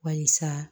Barisa